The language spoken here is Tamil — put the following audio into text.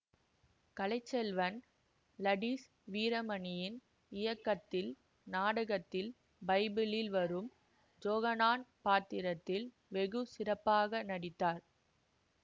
கலை செல்வன் லடிஸ் வீரமணியின் இயக்கத்தில் நாடகத்தில் பைபிளில் வரும் ஜொகனான் பாத்திரத்தில் வெகு சிறப்பாக நடித்தார்